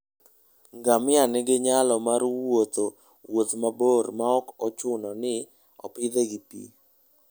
Ngamia nigi nyalo mar wuotho wuoth mabor maok ochuno ni opidhe gi pi.